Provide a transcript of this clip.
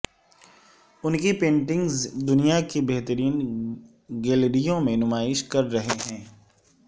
ان کی پینٹنگز دنیا کی بہترین گیلریوں میں نمائش کر رہے ہیں